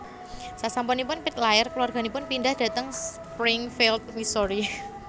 Sasampunipun Pitt lair kulawarganipun pindhah dhateng Springfield Missouri